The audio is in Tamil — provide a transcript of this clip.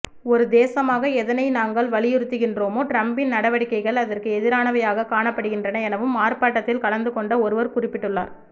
ஒருதேசமாக எதனை நாங்கள் வலியுறுத்துகின்றோமோ டிரம்பின் நடவடிக்கைகள் அதற்கு எதிரானவையாக காணப்படுகின்றன எனவும் ஆர்ப்பாட்டத்தில் கலந்துகொண்ட ஒருவர் குறிப்பிட்டுள்ளார்